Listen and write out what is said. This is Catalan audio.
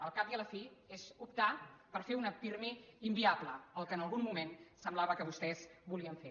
al cap i a la fi és optar per fer un pirmi inviable el que en algun moment semblava que vostès volien fer